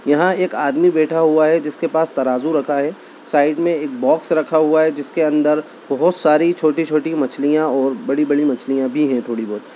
यहाँ एक आदमी बैठा हुआ है जिसके पास तराजू रखा है साइड मे एक बॉक्स रखा हुआ है जिसके अन्दर बहुत सारी छोटी-छोटी मछलियां और बड़ी-बड़ी मछलियां भी है थोड़ी बहुत